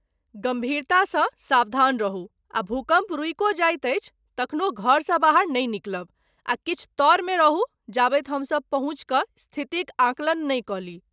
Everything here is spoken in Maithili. गम्भीरतासँ सावधान रहू आ भूकम्प रुकियो जाइत अछि, तखनो घरसँ बाहर नहि निकलब आ किछु तऽरमे रहू जाबति हमसभ पहुँचि कऽ स्थितिक आकलन नहि क ली।